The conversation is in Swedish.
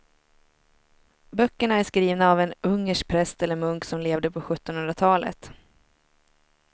Böckerna är skrivna av en ungersk präst eller munk som levde på sjuttonhundratalet.